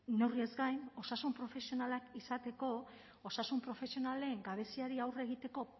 neurriez gain osasun profesionalak izateko osasun profesionalen gabeziari aurre egiteko